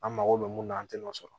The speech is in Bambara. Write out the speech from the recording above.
An mago bɛ mun na an tɛ n'o sɔrɔ